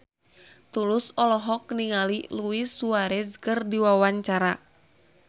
Tulus olohok ningali Luis Suarez keur diwawancara